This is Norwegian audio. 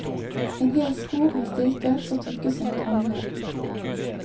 En hel skog med stilker så tykke som et håndledd.